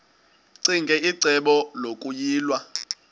ccinge icebo lokuyilwa